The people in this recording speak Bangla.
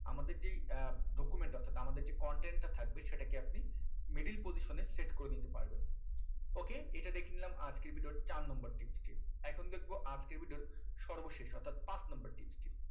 আমাদের যেই আহ document অর্থাৎ আমাদের যে content টা থাকবে সেটাকে আপনি middle position এ set করে নিতে পারবেন ok এটা দেখে নিলাম আজকের video র চার number tips টি এখন দেখবো আজকের video র সর্বশেষ অর্থাৎ পাঁচ number tips টি